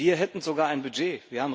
Wir hätten sogar ein Budget